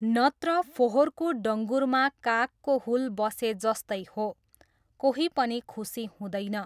नत्र फोहोरको डङ्गुरमा कागको हुल बसेजस्तै हो, कोही पनि खुसी हुँदैन।